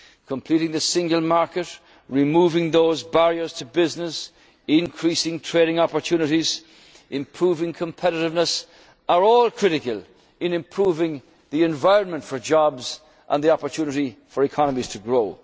youth guarantee. Completing the single market, removing those barriers to business, increasing trading opportunities, improving competitiveness are all critical in improving the environment for jobs and the opportunity for